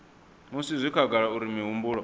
musi zwi khagala uri mihumbulo